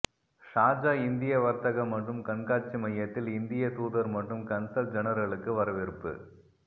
Sharjah இந்திய வர்த்தக மற்றும் கண்காட்சி மையத்தில் இந்திய தூதர் மற்றும் கன்சல் ஜெனரலுக்கு வரவேற்பு